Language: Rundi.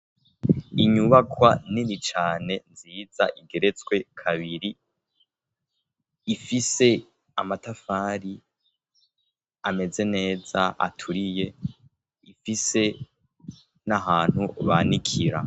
Inyubakwa nini cane nziza igeretswe kabiri. Ifise amatafari ameze neza, aturiye. Ifise n'ahantu banikira.